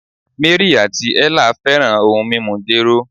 Mary ati Ella fẹran ohun mimu jero